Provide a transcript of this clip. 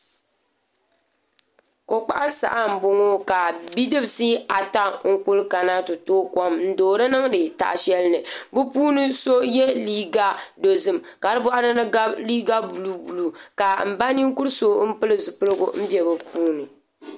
Ko kpaɣu saha n boŋo ka bidibsi ata n kuli kana ti tooi kom n doori niŋdi taha shɛli ni bi puuni so yɛ liiga dozim ka di boɣari ni gabi liiga buluu buluu ka n na ninkuri so pili zipiligu n bɛ bi puuni